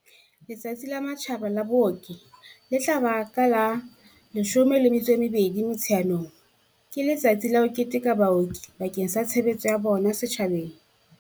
Letsatsi la Matjhaba la Booki, le tla ba ka la 12 Motsheanong, ke letsatsi la ho keteka baoki bakeng sa tshebeletso ya bona setjhabeng.